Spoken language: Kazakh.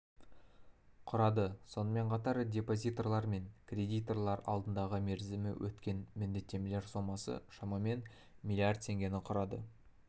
құрады сонымен қатар депозиторлар мен кредиторлар алдындағы мерзімі өткен міндеттемелер сомасы шамамен млрд теңгені құрады